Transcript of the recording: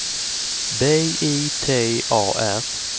B I T A R